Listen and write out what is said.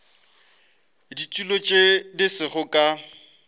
ditulo tše di sego ka